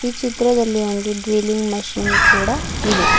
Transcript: ಈ ಚಿತ್ರದಲ್ಲಿ ಒಂದು ಡ್ರಿಲ್ಲಿಂಗ್ ಮಷೀನ್ ಕೂಡ ಇದೆ.